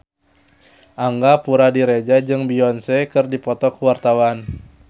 Angga Puradiredja jeung Beyonce keur dipoto ku wartawan